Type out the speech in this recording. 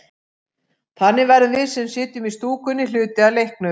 Þannig verðum við, sem sitjum í stúkunni, hluti af leiknum.